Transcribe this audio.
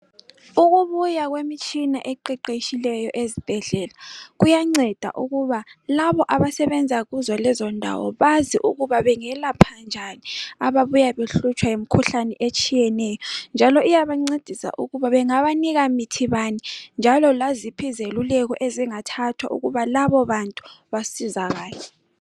Ukubuya kwemtshina eqeqetshileyo ezibhedlela kuyanceda ukuba labo abasebenza kuzo lezo ndawo bazi ukuba bengelapha njani ababuya behlutshwa yimikhuhlane etshiyeneyo njalo iyabancedisa ukuthi bangabanikamithi bani njalo laziphi izeluleko ezingathathwa ukuba labo bantu basizakale